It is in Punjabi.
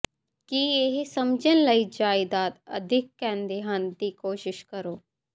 ਕੀ ਇਹ ਸਮਝਣ ਲਈ ਜਾਇਦਾਦ ਅਿਦੱਖ ਕਹਿੰਦੇ ਹਨ ਦੀ ਕੋਸ਼ਿਸ਼ ਕਰੋ